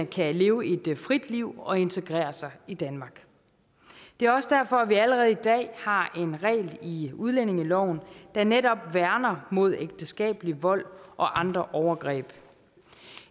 kan leve et frit liv og integrere sig i danmark det er også derfor at vi allerede i dag har en regel i udlændingeloven der netop værner mod ægteskabelig vold og andre overgreb